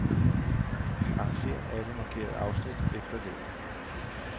Arrangér alle markerede afsnit efter længde.